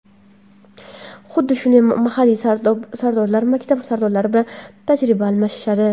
Huddi shunday mahalliy Sardorlar maktab Sardorlari bilan tajriba almashishadi.